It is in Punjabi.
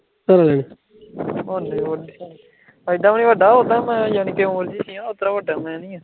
, ਐਡਾ ਵੀ ਨੀ ਵੱਡਾ, ਔਂਦਾਂ ਮੈਂ ਯਾਨੀ ਕੇ ਵੱਡਾ ਮੈਂ ਨਹੀਂ ਹਾਂ